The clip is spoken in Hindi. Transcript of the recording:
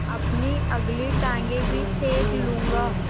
अपनी अगली टाँगें भी सेक लूँगा